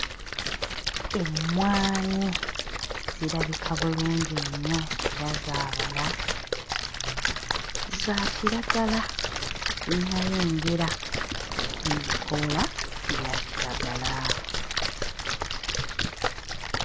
Emmwanyi zirabika bulungi nnyo era zaabala. Za kiragala tezinnayengera ebikoola bya kiragala.